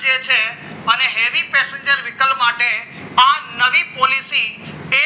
heavy passenger વિકલ્પ માટે આ નવી પોલીસી છે